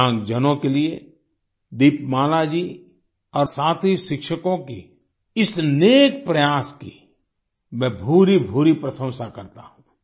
दिव्यांग जनों के लिए दीपमाला जी और साथी शिक्षकों की इस नेक प्रयास की मैं भूरीभूरी प्रशंसा करता हूँ